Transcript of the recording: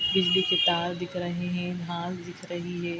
बिजली के तार दिख रहे हैं घास दिख रही हे ।